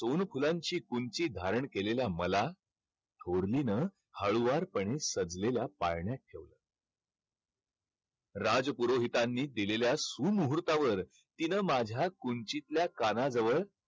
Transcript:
सोनफुलांची कुंची धारण केलेल्या मला थोरलीनं हळुवारपणे सडलेल्या पाळण्यात ठेवलं. राजपुरोहितांनी दिलेल्या सुमुहूर्तावर तिनं माझ्या कुंचीतल्या कानाजवळ